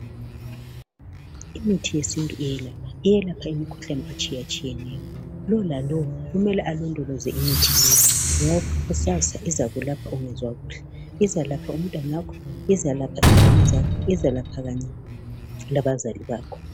Imithi yesintu iyelapha, iyelapha imikhuhlane etshiyetshiyeneyo. Lowo lalowo kumele alondoloze imithi leyi ngoba kusasa izakulapha ungezwa kuhle, izakulapha umntanakho izakulapha ingane zakho izalapha kanye labazali bakho.